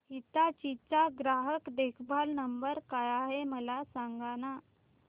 हिताची चा ग्राहक देखभाल नंबर काय आहे मला सांगाना